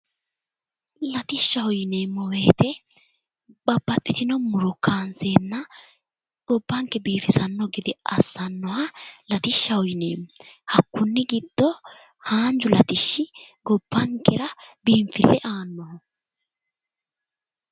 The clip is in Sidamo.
Latishshaho yineemmo woyiite babaxitino muro kaanseenna gobbanke biifisanno gede assannoha latishshaho yineemmo. hakkunni giddo haanju latishshi gobbankera biinfille aannoho.